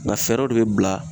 Nga fɛɛrɛw de be bila